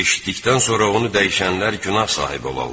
Eşitdikdən sonra onu dəyişənlər günah sahibi olarlar.